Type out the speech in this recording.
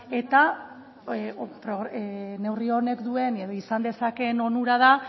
eta neurri honek duen edo izan dezakeen onura da